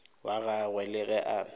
wa gagwe le ge a